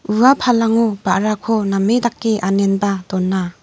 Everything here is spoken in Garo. ua palango ba·rako name dake anenba dona.